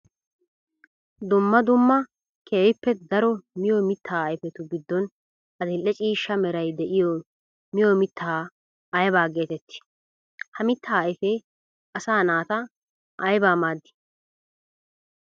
Dumma dumma keehippe daro miyo mitta ayfettu gidon adli'ee ciishsha meray de'iyo miyo mitta aybba geetetti? Ha mitta ayfe asaa naata aybba maadi?